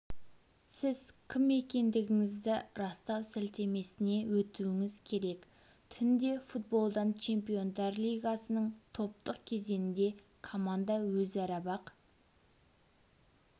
сіз кім екендігіңізді растау сілтемесіне өтуіңіз керек түнде футболдан чемпиондар лигасының топтық кезеңінде команда өзара бақ